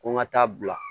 Ko n ka taa bila